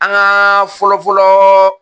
An ka fɔlɔ fɔlɔ